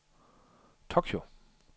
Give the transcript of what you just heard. Tokyo